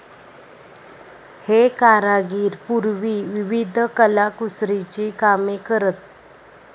हे कारागीर पूर्वी विविध कलाकुसरीची कामे करत.